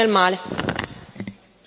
Si sta in Europa, nel bene e nel male.